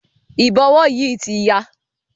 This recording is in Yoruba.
Ìbọ̀wọ́ yìí ti ya.